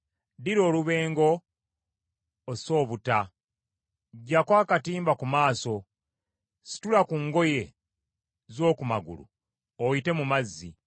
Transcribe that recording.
Ddira olubengo ose obutta. Ggyako akatimba ku maaso, situla ku ngoye z’oku magulu oyite mu mazzi.